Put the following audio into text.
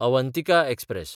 Avantika express